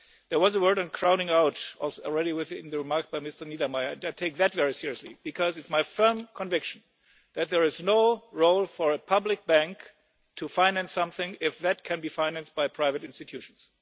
none. There was a word on crowding out in the remarks by Mr Niedermayer and I take that very seriously, because it is my firm conviction that there is no role for a public bank to finance something if that can be financed by private institutions.